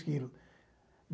quilos